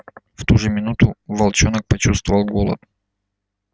в ту же минуту волчонок почувствовал голод